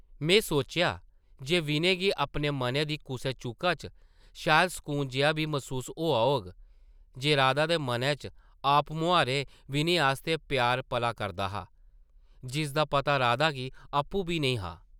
में सोचेआ जे विनय गी अपने मनै दी कुसै चूह्का च शायद सकून जेहा बी मसूस होआ होग जे राधा दे मनै च आपमुहारें विनय आस्तै प्यार पला करदा हा, जिसदा पता राधा गी आपूं बी नेईं हा ।